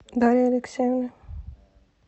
дарьи алексеевны